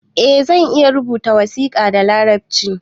Eh zan iya rubuta wasiƙa da larabci